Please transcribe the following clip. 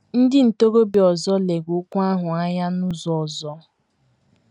Ndị ntorobịa ọzọ lere okwu ahụ anya n’ụzọ ọzọ.